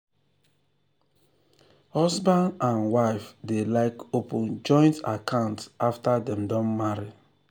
husband and wife dey like open joint account after dem don marry.